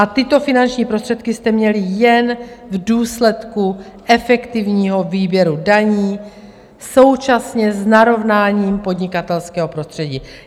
A tyto finanční prostředky jste měli jen v důsledku efektivního výběru daní současně s narovnáním podnikatelského prostředí.